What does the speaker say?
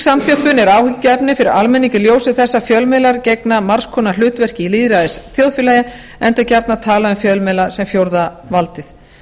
samþjöppun er áhyggjuefni fyrir almenning í ljósi þess að fjölmiðlar gegna margs konar hlutverki í lýðræðisþjóðfélagi enda er gjarnan talað um fjölmiðla sem fjórða valdið